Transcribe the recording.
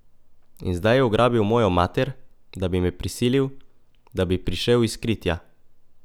In zdaj je ugrabil mojo mater, da bi me prisilil, da bi prišel iz kritja.